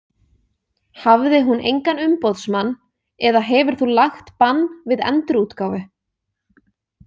Hafði hún engan umboðsmann eða hefur þú lagt bann við endurútgáfu?